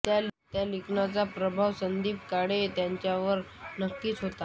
त्या लिखाणाचा प्रभाव संदीप काळे यांच्यावर नक्कीच होता